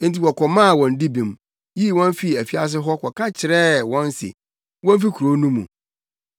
enti wɔkɔmaa wɔn dibem, yii wɔn fii afiase hɔ ka kyerɛɛ wɔn se womfi kurow no mu.